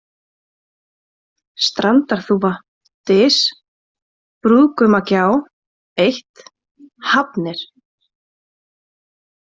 Strandarþúfa, Dys, Brúðgumagjá 1, Hafnir